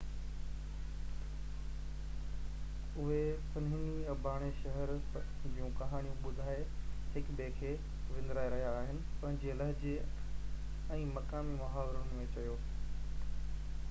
اهي پنهني اباڻي شهر جون ڪهاڻيون ٻڌائي هڪ ٻئي کي وندرائي رهيا آهن پنهنجي لهجي ۽ مقامي محاورن ۾ چيو